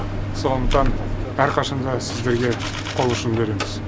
сондықтан әрқашан да сіздерге қол ұшын береміз